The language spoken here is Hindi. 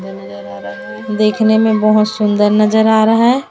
देखने में बहोत सुंदर नजर आ रहा है।